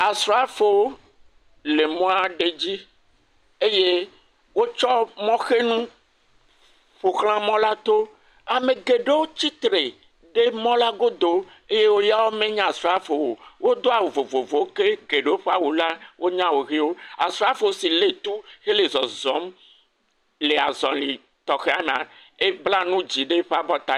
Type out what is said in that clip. Asrafo le mɔ aɖe dzi eye wotsɔ mɔhenu ƒoxlã mɔ la to. Ame aɖewo tsi tre ɖe mɔ la go eye yawo menye asrafowo o. Wodo awu vovowo eye eɖewo menye asrafowo o eye geɖewo ƒe awu la menye awu ɣiwo. Asrafo si le tɔ hele zɔzɔm le azɔli tɔxea me ebla nu dzɛ ɖe abɔ ta.